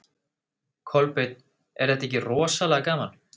Kolbeinn: Er þetta ekki rosalega gaman?